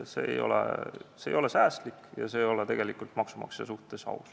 See ei ole säästlik ega ole tegelikult maksumaksja suhtes aus.